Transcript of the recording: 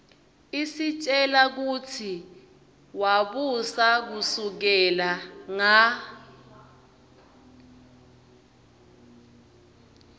isitjela kutsi wabusa kusukela nga